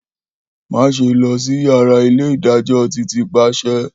Maṣe lọ si yara ile-idajọ Titi paṣẹ.